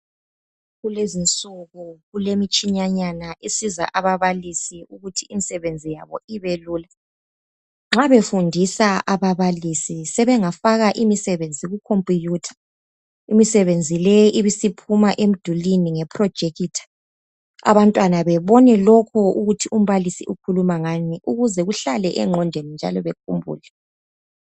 Kulezi insuku kulemtshinanyana esiza ababalisi ukuthi imsebenzi yabo ibelula nxa befundisa ababalisi sebengafaka imsebenzi kukhombutha, imsebenzi leyi ibe isiphuma emdulwini ngeprojekitha abantwana bebone lokhu ukuthi umbalisi ukhuluma ngani ukuze kuhlale engqondweni njalo bekhumbule.